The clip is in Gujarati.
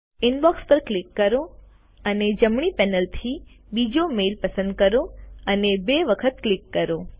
ઇનબોક્ષ પર ક્લિક કરો અને જમણી પેનલથી બીજો મેઈલ પસંદ કરો અને બે વખત ક્લિક કરો